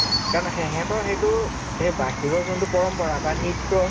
কাৰণ সেহেতৰ সেইটো হেই বাহৰৰ যোনটো পৰম্পৰা বা নৃত্য়